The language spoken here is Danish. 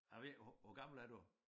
Jeg ved ikke hvor hvor gammel er du